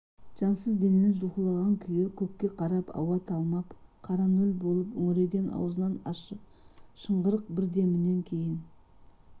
жансыз денен жұлқылаған күй көкке қарап ауа талмап қара нөл болып үңірейген аузынан ащы шыңғырық бір демінен кейін